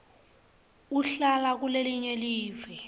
uhlala kulelinye live